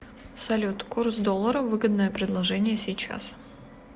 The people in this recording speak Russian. салют курс доллара выгодное предложение сейчас